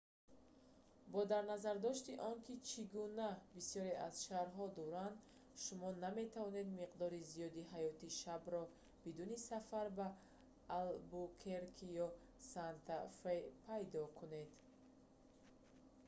бо дарназардошти он ки чӣ гуна бисёре аз шарҳо шаҳр дар испания дуранд шумо наметавонед миқдори зиёди ҳаёти шабро бидуни сафар ба албукерке ё санта фе пайдо кунед